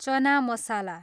चना मसला